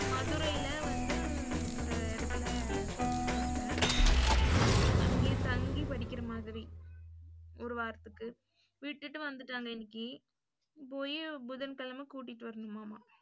மதுரைல வந்து ஒரு எடத்துல பேசிருக்காப்ள, அங்கேயே தங்கி படிக்கிற மாதிரி ஒரு வராத்துக்கு. விட்டுட்டு வந்துட்டாங்க இன்னைக்கு, போயி புதன்கிழமை கூட்டிட்டு வரணும்மாமா.